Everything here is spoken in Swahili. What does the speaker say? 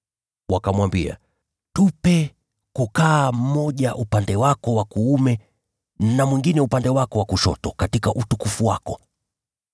Wakamwambia, “Tupe kukaa mmoja upande wako wa kuume na mwingine upande wako wa kushoto katika utukufu wako.”